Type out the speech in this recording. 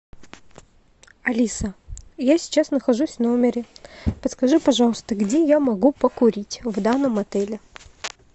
алиса я сейчас нахожусь в номере подскажи пожалуйста где я могу покурить в данном отеле